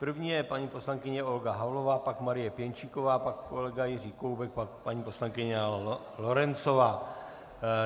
První je paní poslankyně Olga Havlová, pak Marie Pěnčíková, pak kolega Jiří Koubek, pak paní poslankyně Lorencová.